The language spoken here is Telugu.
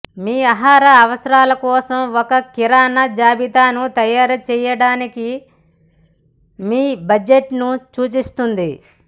మీ ఆహార అవసరాల కోసం ఒక కిరాణా జాబితాను తయారు చేయడానికి మీ బడ్జెట్ను సూచిస్తుంది